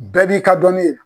Bɛɛ b'i ka dɔnni ye